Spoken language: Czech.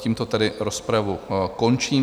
Tímto tedy rozpravu končím.